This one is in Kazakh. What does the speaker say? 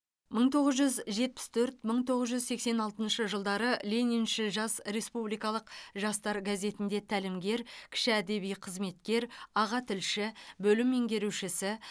мың тоғыз жүз жетпіс төрт мың тоғыз жүз сексен алтыншы жылдары лениншіл жас респубикалық жастар газетінде тәлімгер кіші әдеби қызметкер аға тілші бөлім меңгерушісі